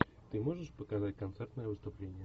ты можешь показать концертное выступление